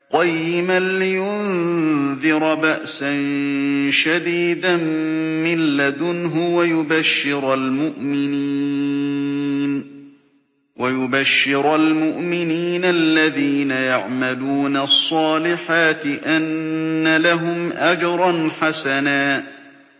قَيِّمًا لِّيُنذِرَ بَأْسًا شَدِيدًا مِّن لَّدُنْهُ وَيُبَشِّرَ الْمُؤْمِنِينَ الَّذِينَ يَعْمَلُونَ الصَّالِحَاتِ أَنَّ لَهُمْ أَجْرًا حَسَنًا